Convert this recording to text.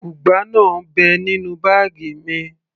ugba náà ń bẹ nínú báàgì mi